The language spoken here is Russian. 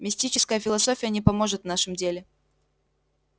мистическая философия не поможет в нашем деле